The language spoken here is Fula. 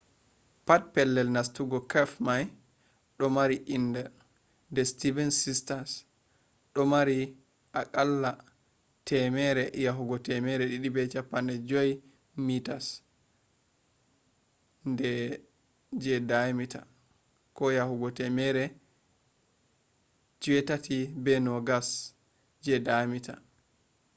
pat pellel nastugo cave mai ɗo mari inder the seven sisters” ɗo mari a qalla 100 yahugo 250 meters 328 yahugo 820 feet je diameter